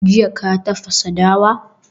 Jiya ka tafasa dawa?